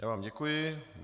Já vám děkuji.